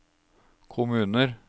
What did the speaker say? kommuner